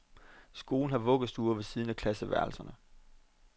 Skolen har vuggestuer ved siden af klasseværelserne.